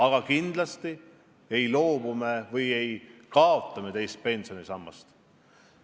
Aga kindlasti me ei kaota teist pensionisammast.